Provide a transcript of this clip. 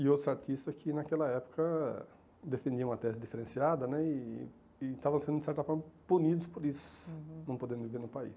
E outros artistas que, naquela época, defendiam a tese diferenciada né e e estavam sendo, de certa forma, punidos por isso, uhum, não podendo viver no país.